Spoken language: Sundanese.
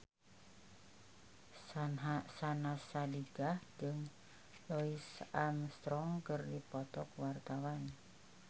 Syahnaz Sadiqah jeung Louis Armstrong keur dipoto ku wartawan